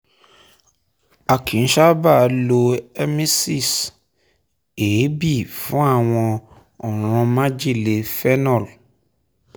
a kìí sábà lọ emesis (èébì) fún àwọn ọ̀ràn májèlé phenol